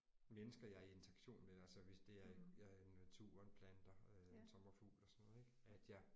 Mennesker jeg er i interaktion med altså hvis det er jeg er i naturen planter en sommerfugl og sådan noget ik at jeg